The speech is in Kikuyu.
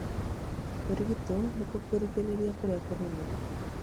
Kũrigito nĩkuo kũrigĩrĩria kũrĩa kũnene.